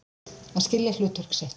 Að skilja hlutverk sitt